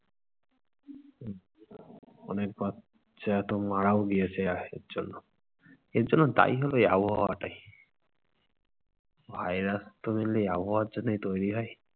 অনেক বাচ্চা তো মারাও গিয়েছে জন্য । আর জন্য দায়ী হলো এই আবহাওয়াটাই। virus তো বলে আবহাওয়ার জন্যই তৈরি হয়।